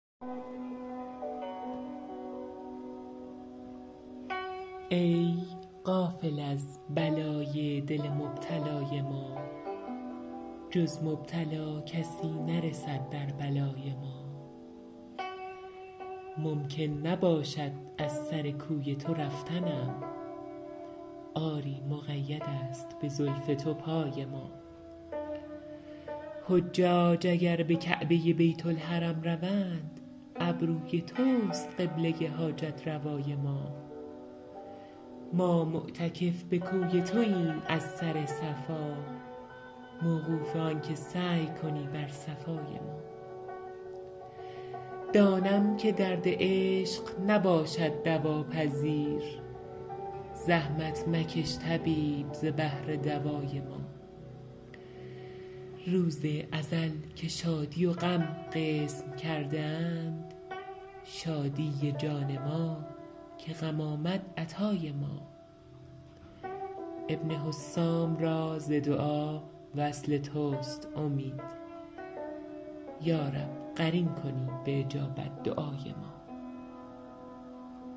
ای غافل از بلای دل مبتلای ما جز مبتلا کسی نرسد در بلای ما ممکن نباشد از سر کوی تو رفتنم آری مقیدست به زلف تو پای ما حجاج اگر به کعبه بیت الحرم روند ابروی توست قبله حاجت روای ما ما معتکف به کوی توایم از سر صفا موقوف آنکه سعی کنی بر صفای ما دانم که درد عشق نباشد دوا پذیر زحمت مکش طبیب ز بهر دوای ما روز ازل که شادی و غم قسم کرده اند شادی جان ما که غم آمد عطای ما ابن حسام را ز دعا وصل تست امید یا رب قرین کنی به اجابت دعای ما